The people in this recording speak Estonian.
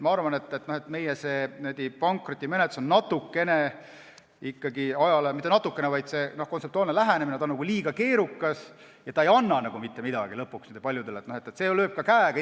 Ma arvan, et meie pankrotimenetlus on natukene keerukas, õigemini, see kontseptuaalne lähenemine on liiga keerukas ja ta ei anna lõpuks paljudele mitte midagi.